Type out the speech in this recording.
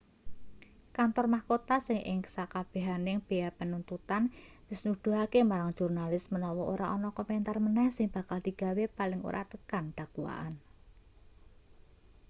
kantor mahkota sing ing sakabehaning bea penuntutan wis nuduhake marang jurnalis menawa ora ana komentar meneh sing bakal digawe paling ora tekan dakwaan